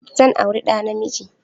Zan auri na namiji.